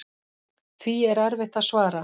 Því er erfitt að svara.